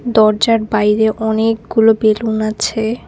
দরজার বাইরে অনেকগুলো বেলুন আছে।